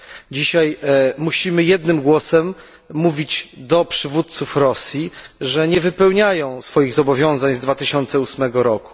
Dzisiaj musimy jednym głosem mówić do przywódców Rosji, że nie wypełniają swoich zobowiązań z 2008 r.